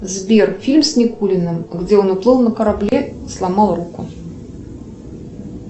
сбер фильм с никулиным где он уплыл на корабле и сломал руку